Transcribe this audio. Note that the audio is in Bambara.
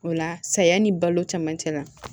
O la saya ni balo camancɛ la